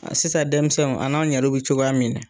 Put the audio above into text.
Sisan denmisɛnw an n'an yɛrɛw bɛ cogoya mina.